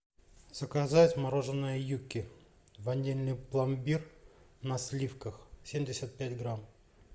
заказать мороженое юкки ванильный пломбир на сливках семьдесят пять грамм